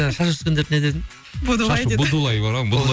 жаңа шаш өскендерді не дедің будулай деді будулай